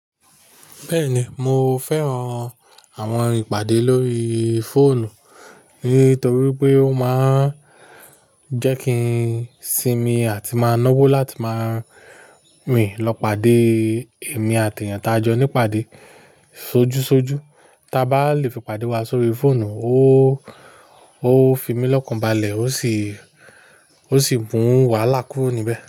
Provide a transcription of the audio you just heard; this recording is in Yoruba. Bẹ́ẹ̀ni, mo fẹ́ran àwọn ìpàdé lórí fóònù nítorí pé ó máa ń jẹ́ kí n sinmi àti máa ń náwó láti máa rin lọ pàdé èmi àti èèyàn tí a jọ ní pàdé sójú sójú. Tá bá lè fi pàdé wa sórí fóònù ó ó fi mí lọ́kàn balẹ̀ ó sì ó sì bú wa lá kùúro níbẹ̀